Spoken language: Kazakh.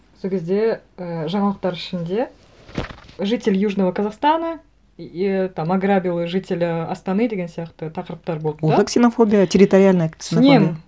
сол кезде і жаңалықтар ішінде житель южного казахстана ііі там ограбил жителя астаны деген сияқты тақырыптар болды да ол да ксенофобия территориальная ксенофобия мен